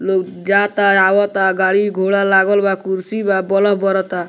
लोग जाता-आवता गाड़ी-घोड़ा लागल बा कुर्शी बा बोलब बरता।